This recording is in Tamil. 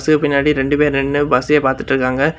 இதுக்கு பின்னாடி ரெண்டு பேர் நின்னு பஸ்ஸையே பாத்துட்டுருக்காங்க.